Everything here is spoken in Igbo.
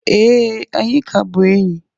Ee, anyị ka bụ enyi